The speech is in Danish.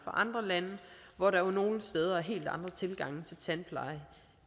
andre lande hvor der jo nogle steder er helt andre tilgange til tandpleje